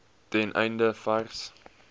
ten einde vars